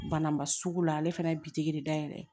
Bana ma sugu la ale fɛnɛ ye bitigi de dayɛlɛ